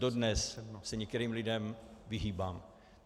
Dodnes se některým lidem vyhýbám.